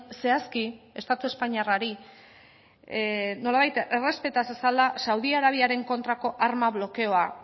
zehazki estatu espainiarrari nolabait errespeta zezala saudi arabiaren kontrako arma blokeoa